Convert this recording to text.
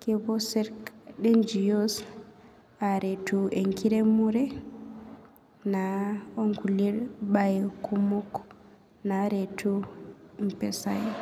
kepuo ngos aretu eramatare mbae kumok naretu mpisai.